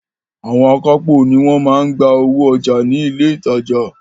Àwọn akápò ni wọ́n máa ń gba owó ọjà ní ilé ìtajà.